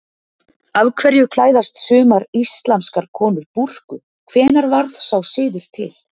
Af hverju klæðast sumar íslamskar konur búrku, hvenær varð sá siður til?